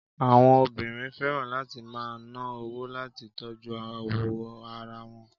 Àwọn obìnrin fẹ́ràn láti máa ná owó láti tọ́jú awọ ara wọn.